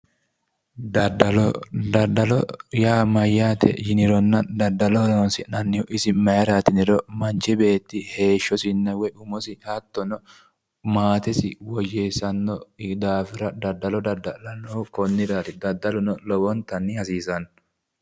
Daddalo, daddalo yaa mayyaate yiniro daddalo horonsi'nanni isi mayraati yiniro? Manchi beetti heeshshosinna woy umosi hattono maatesi woyyeessanno yee hedanno daafira daddalo dadda'lannohu konniraati. daddaluno lowontanni hasiissanno.